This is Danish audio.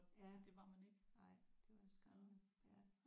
Ja nej det er også sådan ja